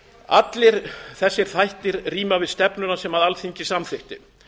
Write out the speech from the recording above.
allir þessir þættir ríma við stefnuna sem alþingi samþykkti